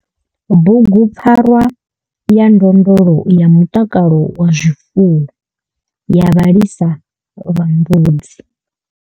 BUGUPFARWA YA NDONDLO YA MUTAKALO WA ZWIFUWO YA VHALISA VHA MBUDZI.